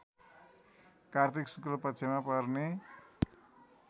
कार्तिक शुक्लपक्षमा पर्ने